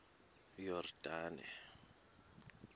yordane